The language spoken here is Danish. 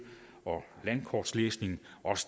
og landkortslæsning